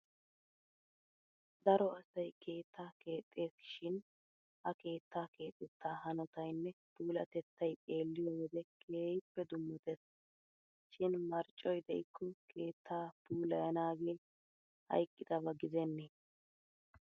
Daro asay keettaa keexxesi shin ha keettaa keexettaa hanotaynne puulatettaay xeelliyo wode keehippe dummatees. Shin marccoy de'ikko keetta puulayanaagee haygidaba gidennee!